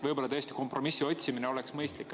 Võib-olla tõesti oleks kompromissi otsimine mõistlik.